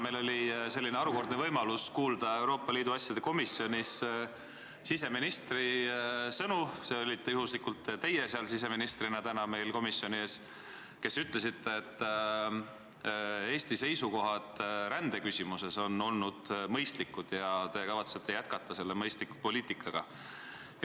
Täna oli meil harukordne võimalus kuulda Euroopa Liidu asjade komisjonis siseministri sõnu – see olite juhuslikult teie siseministrina täna meil seal komisjonis –, et Eesti seisukohad rändeküsimuses on olnud mõistlikud ja te kavatsete selle mõistliku poliitikaga jätkata.